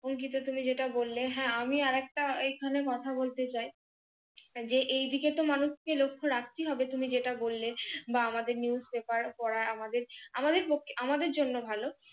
অংকিত তুমি যেটা বললে হ্যাঁ আমি আরেকটা এখানে কথা বলতে চাই যে এইদিকে মানুষকে তো লক্ষ রাখতে হবে তুমি যেটা বললে বা আমাদের NEWSPAPER পড়া আমাদের, আমাদের পক্ষে, আমাদের জন্যই ভালো।